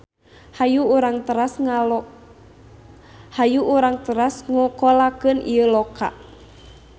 Hayu urang teras ngokolakeun ieu loka.